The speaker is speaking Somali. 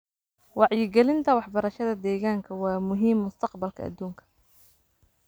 Wacyigelinta waxbarashada deegaanka waa muhiim mustaqbalka adduunka.